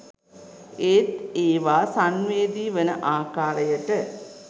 ඒත් ඒවා සංවේදී වන ආකාරයට